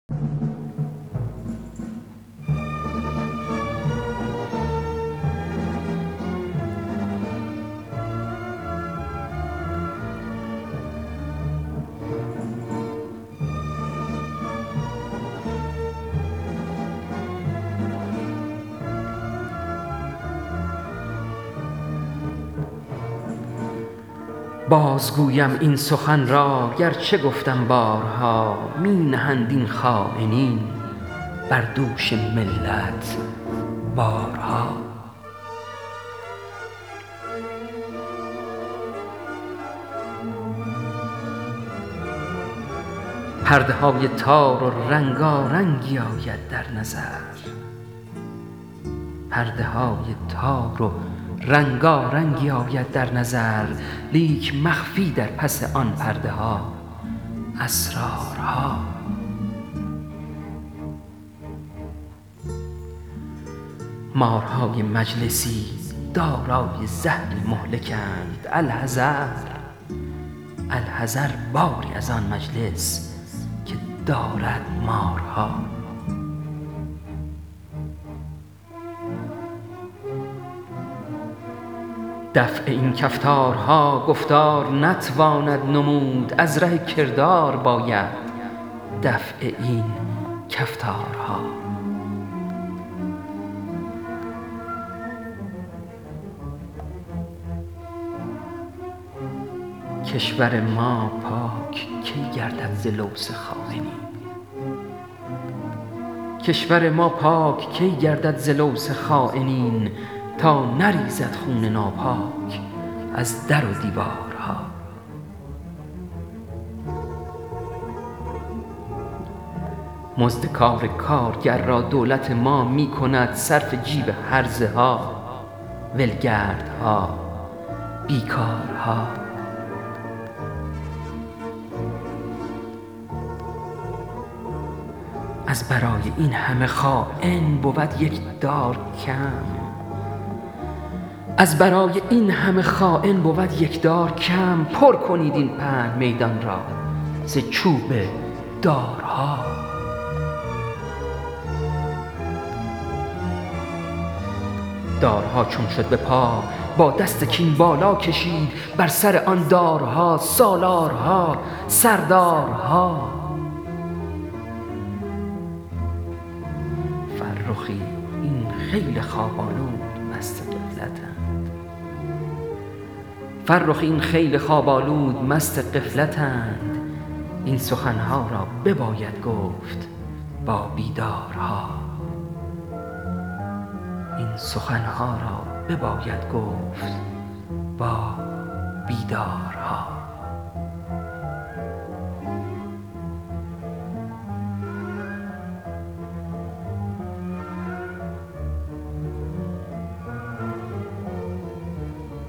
باز گویم این سخن را گرچه گفتم بارها می نهند این خاینین بر دوش ملت بارها پرده های تار و رنگارنگی آید در نظر لیک مخفی در پس آن پرده ها اسرارها مارهای مجلسی دارای زهری مهلکند الحذر باری از آن مجلس که دارد مارها دفع این کفتارها گفتار نتواند نمود از ره کردار باید دفع این کفتارها کشور ما پاک کی گردد ز لوث خاینین تا نریزد خون ناپاک از در و دیوارها مزد کار کارگر را دولت ما می کند صرف جیب هرزه ها ولگردها بیکارها از برای این همه خاین بود یک دار کم پر کنید این پهن میدان را ز چوب دارها دارها چون شد به پا با دست کین بالا کشید بر سر آن دارها سالارها سردارها فرخی این خیل خواب آلود مست غفلتند این سخن ها را بباید گفت با بیدارها